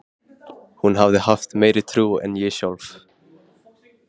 Hún hafði haft meiri trú en ég sjálf.